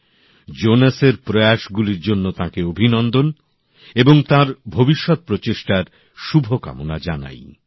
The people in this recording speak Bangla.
মন কি বাত এর মাধ্যমে জোনেসের প্রয়াস গুলির জন্য তাঁকে অভিনন্দন এবং তাঁর ভবিষ্যত প্রচেষ্টার শুভকামনা জানাই